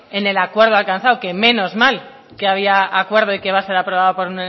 en el acuerdo alcanzado que menos mal que había acuerdo y que va a ser aprobado por